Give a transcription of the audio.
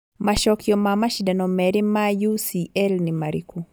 macokio ma macindano merĩ ma ucl nĩ marĩkũ